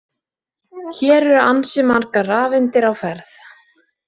Hér eru ansi margar rafeindir á ferð!